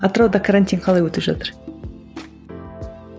атырауда карантин қалай өтіп жатыр